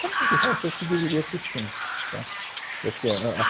Como de resto, eu acho que deveria ser sempre. Tá? Que eu acho que é a a